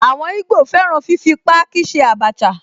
Àwọn ìgbò fẹ́ràn fífi páákí ṣe Abacha